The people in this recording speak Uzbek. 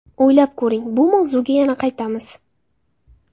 O‘ylab ko‘ring, biz bu mavzuga yana qaytamiz.